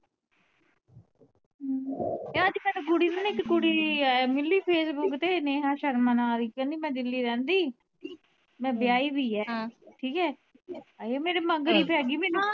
ਮੈਨੂੰ ਨਾ ਇਕ ਕੁੜੀ ਏ ਮਿਲੀ ਸੀ facebook ਤੇ ਨੇਹਾ ਸ਼ਰਮਾ ਨਾ ਦੀ ਕਹਿੰਦੀ ਮੈ ਦਿੱਲੀ ਰਹਿੰਦੀ ਮੈ ਬਿਆਹੀ ਵੀ ਏ ਠੀਕ ਏ ਅੜੀਏ ਮੇਰੇ ਮਗਰ ਈ ਪੈ ਗਈ ਮੈਨੂੰ